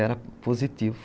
Era positivo.